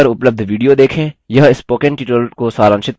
निम्न link पर उपलब्ध video देखें